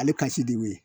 Ale ka si de ye